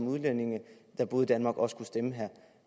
udlændinge der boede i danmark også kunne stemme her